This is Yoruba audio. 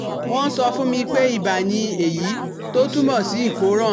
Wọ́n sọ fún mi pé iba ni èyí tó túmọ̀ sí ìkóràn